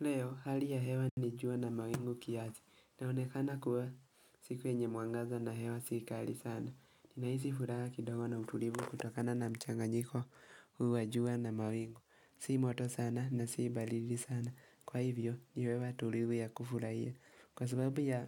Leo, hali ya hewa ni jua na mawingu kiasi, naonekana kuwa siku yenye mwangaza na hewa sikali sana. Ninahisi furaha kidogo na utulivu kutokana na mchanganyiko huu wa jua na mawingu. Si moto sana na si baridi sana. Kwa hivyo, niwewe tulivu ya kufurahia. Kwa sababu ya